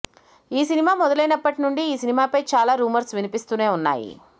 ఈ సినిమా మొదలైనప్పటి నుండి ఈ సినిమా పై చాలా ర్యూమర్స్ వినిపిస్తూనే వున్నాయి